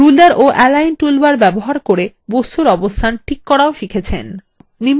ruler ও align toolbar ব্যবহার করে বস্তুর অবস্থান ঠিক করা